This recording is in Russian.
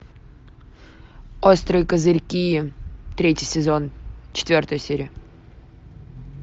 острые козырьки третий сезон четвертая серия